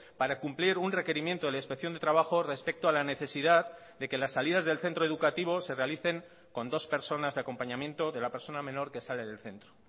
para cumplir un requerimiento de la inspección de trabajo respecto a la necesidad de que las salidas del centro educativo se realicen con dos personas de acompañamiento de la persona menor que sale del centro